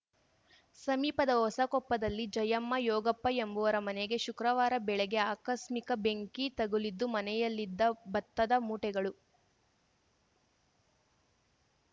ಸಮೀಪದ ಹೊಸಕೊಪ್ಪದಲ್ಲಿ ಜಯಮ್ಮ ಯೋಗಪ್ಪ ಎಂಬುವರ ಮನೆಗೆ ಶುಕ್ರವಾರ ಬೆಳಗ್ಗೆ ಆಕಸ್ಮಿಕ ಬೆಂಕಿ ತಗುಲಿದ್ದು ಮನೆಯಲ್ಲಿದ್ದ ಭತ್ತದ ಮೂಟೆಗಳು